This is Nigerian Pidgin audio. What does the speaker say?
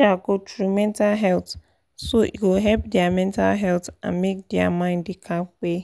um go through mental wahala so e go help their mental health and make their mind da kampe